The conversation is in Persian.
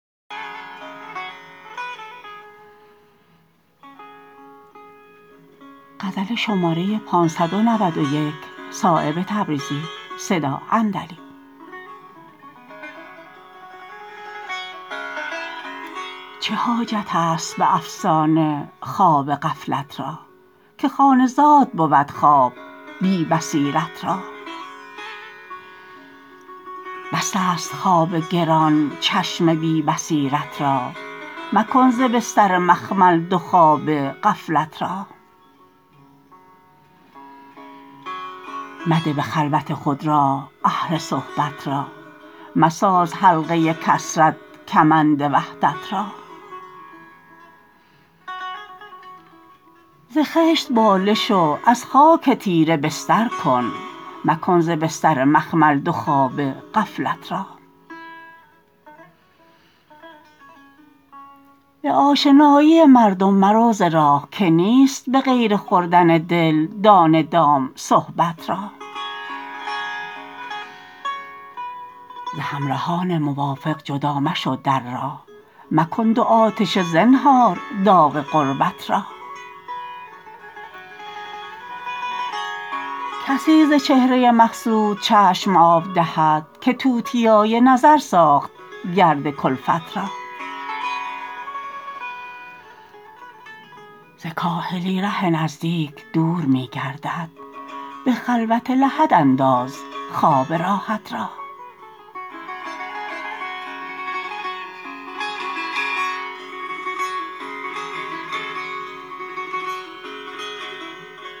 چه حاجت است به افسانه خواب غفلت را که خانه زاد بود خواب بی بصیرت را بس است خواب گران چشم بی بصیرت را مکن ز بستر مخمل دو خوابه غفلت را مده به خلوت خود راه اهل صحبت را مساز حلقه کثرت کمند وحدت را ز خشت بالش و از خاک تیره بستر کن مکن ز بستر مخمل دو خوابه غفلت را به آشنایی مردم مرو ز راه که نیست به غیر خوردن دل دانه دام صحبت را ز همرهان موافق جدا مشو در راه مکن دو آتشه زنهار داغ غربت را کسی ز چهره مقصود چشم آب دهد که توتیای نظر ساخت گرد کلفت را ز کاهلی ره نزدیک دور می گردد به خلوت لحد انداز خواب راحت را